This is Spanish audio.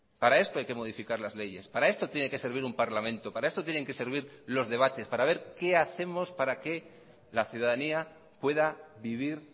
para esto hay que modificar las leyes para esto tiene que servir un parlamento para esto tienen que servir los debates para ver qué hacemos para que la ciudadanía pueda vivir